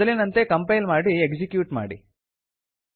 ಮೊದಲಿನಂತೆ ಕಂಪೈಲ್ ಮಾಡಿ ಎಕ್ಸಿಕ್ಯೂಟ್ ಮಾಡಿ